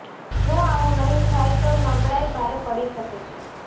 જો આવુ નહી થાય તો નબળાઇ ભારે પડી શકે છે